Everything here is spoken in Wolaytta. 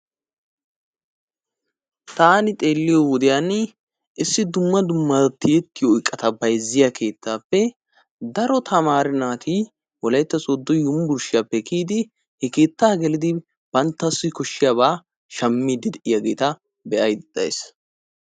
Tanni xeliyo wodiyaanni issi dumma dumma tiyetiyo eqatta bayiziyaa kettappe daro tammare natti wolaytta sodo unburshiyappe kiyiddi he kettaa gellidi batawu koshiyaaba shammidi de'iyagetta be'ayda daysi.